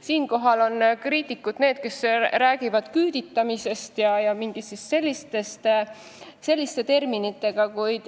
Siinkohal räägivad kriitikud küüditamisest ja mingitest sellistest terminitest.